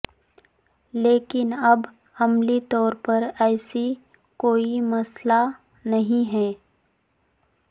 لیکن اب عملی طور پر ایسی کوئی مسئلہ نہیں ہے